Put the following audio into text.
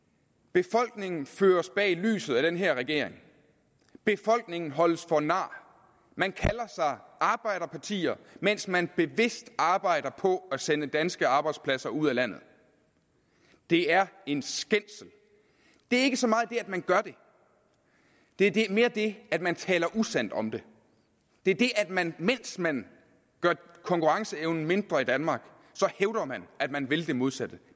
befolkningen føres bag lyset af den her regering befolkningen holdes for nar man kalder sig arbejderpartier mens man bevidst arbejder på at sende danske arbejdspladser ud af landet det er en skændsel det er ikke så meget det at man gør det det er mere det at man taler usandt om det det er det at man mens man gør konkurrenceevnen mindre i danmark hævder at man vil det modsatte